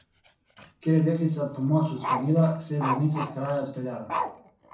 Ker je deklica pomoč odklonila, se je voznica s kraja odpeljala.